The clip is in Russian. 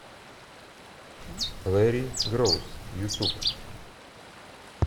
лэри гроус ютуб